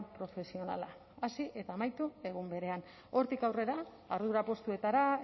profesionala hasi eta amaitu egun berean hortik aurrera ardura postuetara